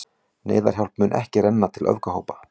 Neyðarhjálp mun ekki renna til öfgahópa